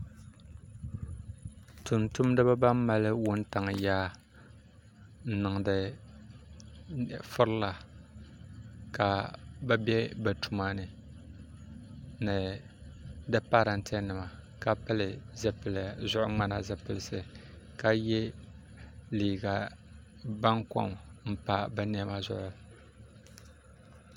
Tumtumdiba ban mali wuntaŋa yaa n niŋdi firila ka bɛ be bɛ tumani ni di parante nima ka pili zuɣu ŋmani zipilisi ka ye liiga bankom m pa bɛ niɛma zuɣu.